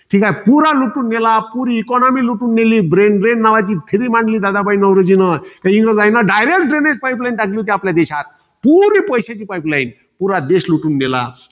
ठीकाय. पुरा लुटून नेला. पुरी economy लुटून नेली. Brain brain नावाची theory मांडली दादाभाई नौरोजीन. त्या इंग्रजांनी direct drainage pipeline टाकली होती आपल्या देशात. पुरी पैश्याही pipeline पुरा देश लुटून नेला.